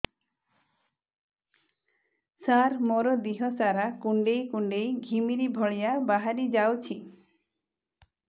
ସାର ମୋର ଦିହ ସାରା କୁଣ୍ଡେଇ କୁଣ୍ଡେଇ ଘିମିରି ଭଳିଆ ବାହାରି ଯାଉଛି